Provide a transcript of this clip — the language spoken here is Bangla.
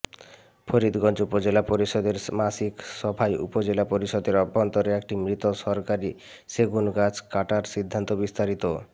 ফরিদগঞ্জ উপজেলা পরিষদের মাসিক সভায় উপজেলা পরিষদের অভ্যন্তরে একটি মৃত সরকারি সেগুন গাছ কাটার সিদ্ধান্তবিস্তারিত